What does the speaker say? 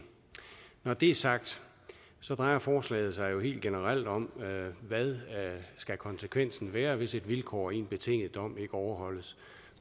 når det er sagt drejer forslaget sig helt generelt om hvad konsekvensen skal være hvis et vilkår i en betinget dom ikke overholdes